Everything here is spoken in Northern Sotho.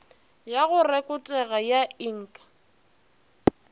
ya go rekotega ya ik